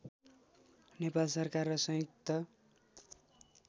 नेपाल सरकार र संयुक्त